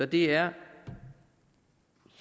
det er